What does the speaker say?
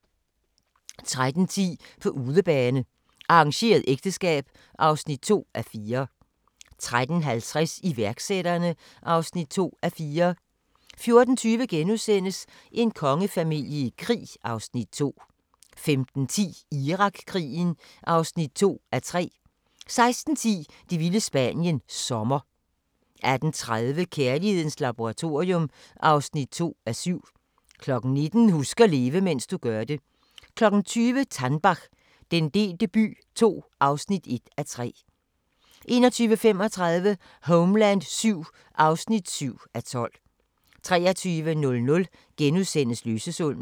13:10: På udebane: Arrangeret ægteskab (2:4) 13:50: Iværksætterne (2:4) 14:20: En kongefamilie i krig (Afs. 2)* 15:10: Irakkrigen (2:3) 16:10: Det vilde Spanien – Sommer 18:30: Kærlighedens Laboratorium (2:7) 19:00: Husk at leve, mens du gør det 20:00: Tannbach - den delte by II (1:3) 21:35: Homeland VII (7:12) 23:00: Løsesummen *